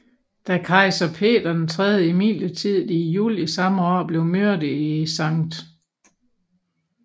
Da kejser Peter III imidlertid i juli samme år blev myrdet i Skt